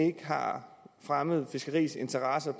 ikke har fremmet fiskeriets interesser